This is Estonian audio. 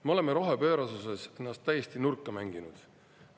Me oleme rohepöörasuses ennast täiesti nurka mänginud.